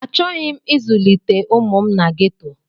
Achọghị m ịzụlite ụmụ m na geto.